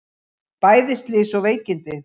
Bæði slys og veikindi